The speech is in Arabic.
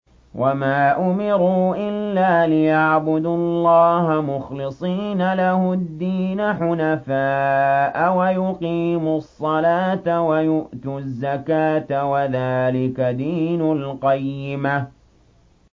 وَمَا أُمِرُوا إِلَّا لِيَعْبُدُوا اللَّهَ مُخْلِصِينَ لَهُ الدِّينَ حُنَفَاءَ وَيُقِيمُوا الصَّلَاةَ وَيُؤْتُوا الزَّكَاةَ ۚ وَذَٰلِكَ دِينُ الْقَيِّمَةِ